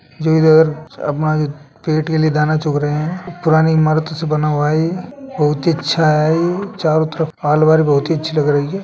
जो इधर अपना पेट के लिए दाना चुग रहे हैं पुरानी इमारतों से बना हुआ है ये बहुत ही अच्छा है ये चारों तरफ बहुत ही अच्छी लग रही है।